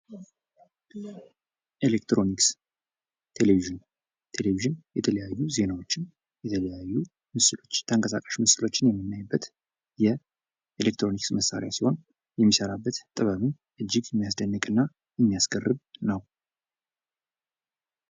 ኤሌክትሮኒክስ ቴሌቪዥን ቴሌቭዥን የተለያዩ ዜናዎችን የተለያዩ ጠንቀሳቃሽ ምስሎችን የመናይበት የኤሌክትሮኒክስ መሳሪያ ሲሆን የሚሰራበት ጥበብም እጅግ የሚያስደንቅ እና የሚያስገርም ነው።